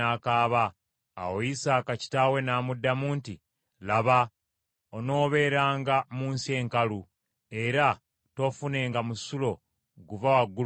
Awo Isaaka kitaawe n’amuddamu nti, “Laba, onooberanga mu nsi enkalu, era toofunenga musulo guva waggulu mu ggulu.